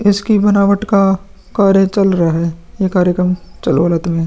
इसकी बनावट का कार्य चल रहा है। ये कार्यक्रम चलवा रात में --